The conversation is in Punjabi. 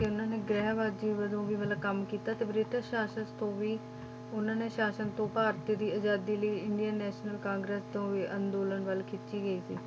ਤੇ ਉਹਨਾਂ ਨੇ ਗ੍ਰਹਿਵਾਦੀ ਵਜੋਂ ਵੀ ਮਤਲਬ ਕੰਮ ਕੀਤਾ, ਤੇ ਬ੍ਰਿਟਿਸ਼ ਸ਼ਾਸਨ ਤੋਂ ਵੀ ਉਹਨਾਂ ਨੇ ਸ਼ਾਸਨ ਤੋਂ ਭਾਰਤ ਦੀ ਆਜ਼ਾਦੀ ਲਈ ਇੰਡੀਅਨ national ਕਾਂਗਰਸ ਤੋਂ ਵੀ ਅੰਦੋਲਨ ਵੱਲ ਖਿੱਚੀ ਗਈ ਸੀ,